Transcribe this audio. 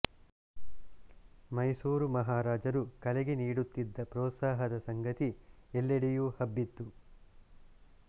ಮೈಸೂರು ಮಹಾರಾಜರು ಕಲೆಗೆ ನೀಡುತ್ತಿದ್ದ ಪ್ರೋತ್ಸಾಹದ ಸಂಗತಿ ಎಲ್ಲೆಡೆಯೂ ಹಬ್ಬಿತ್ತು